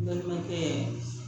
N balimakɛ